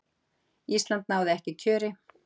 ísland náði ekki kjöri